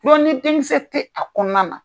ni denkisɛ tɛ a kɔnɔna na.